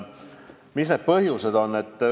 Mis need põhjused on?